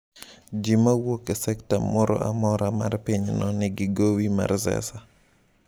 “Ji ma wuok e sekta moro amora mar pinyno nigi gowi mar Zesa.”